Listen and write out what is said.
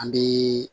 An bɛ